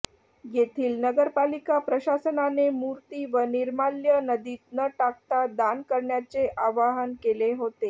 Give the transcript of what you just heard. येथील नगरपालिका प्रशासनाने मूर्ती व निर्माल्य नदीत न टाकता दान करण्याचे आवाहन केले होते